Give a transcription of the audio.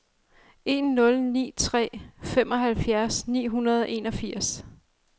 en nul ni tre femoghalvfjerds ni hundrede og enogfirs